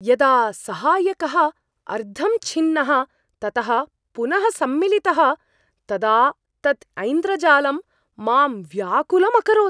यदा सहायकः अर्धं छिन्नः ततः पुनः सम्मिलितः तदा तत् ऐन्द्रजालं मां व्याकुलम् अकरोत्।